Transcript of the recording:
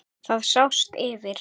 Það sást yfir